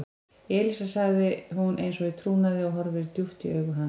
Elísa sagði hún eins og í trúnaði og horfði djúpt í augu hans.